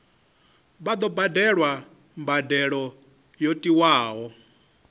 vha badele mbadelo yo tiwaho